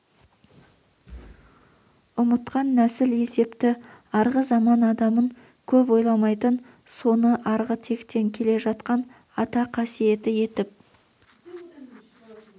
ұмытқан нәсіл есепті арғы заман адамын көп ойламайтын соны арғы тектен келе жатқан ата қасиеті етіп